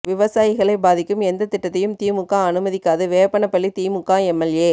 விவசாயிகளை பாதிக்கும் எந்த திட்டத்தையும் திமுக அனுமதிக்காது வேப்பனப்பள்ளி திமுக எம்எல்ஏ